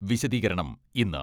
വിശദീകരണം ഇന്ന്